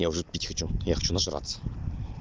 я уже пить хочу я хочу нажраться